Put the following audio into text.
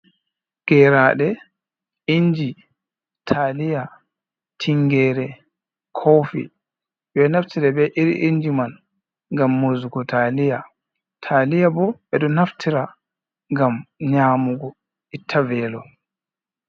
Geraaɗe inji taaliya, tingere, kofi. Ɓe ɗo naftira be iri inji man ngam murzugo taaliya, taaliya bo ɓe ɗo naftira ngam nyaamugo itta veelo.